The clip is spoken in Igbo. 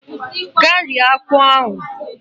Gaa rie akpụ ahụ!